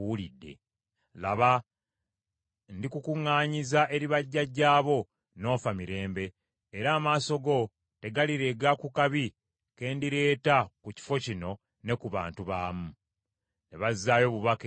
Laba, ndikukuŋŋaanyiza eri bajjajjaabo, n’ofa mirembe, era amaaso go tegalirega ku kabi ke ndireeta ku kifo kino ne ku bantu baamu.” ’” Ne bazaayo obubaka eri kabaka.